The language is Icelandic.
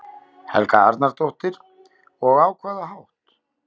Helga Arnardóttir: Og á hvaða hátt?